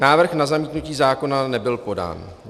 Návrh na zamítnutí zákona nebyl podán.